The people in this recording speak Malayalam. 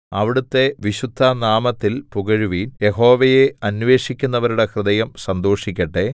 അവിടുത്തെ വിശുദ്ധനാമത്തിൽ പുകഴുവിൻ യഹോവയെ അന്വേഷിക്കുന്നവരുടെ ഹൃദയം സന്തോഷിക്കട്ടെ